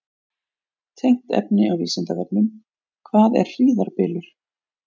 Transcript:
Tengt efni á Vísindavefnum: Hvað er hríðarbylur?